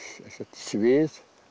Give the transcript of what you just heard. svið